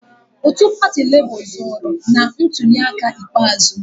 Otu pati Labour zọọrọ na ntuliaka ikpeazụ.